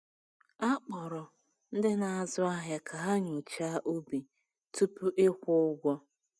A kpọrọ ndị na-azụ ahịa ka ha nyochaa ubi tupu ịkwụ ụgwọ.